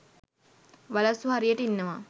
වලස්සු හරියට ඉන්නවා.